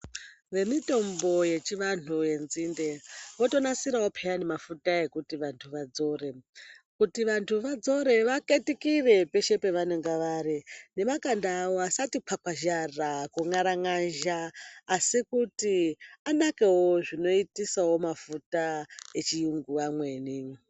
Vemitombo yechivantu yenzinde votonasirawo mafuta ekuti vantu vadzoro. Kuti vantu vadzore vaketukire peshe pavanonga vari nemakanda awo asati kwarakazha kumwangarazha asi kuti anekewo zvinoitisawo mafuta echirungu emene.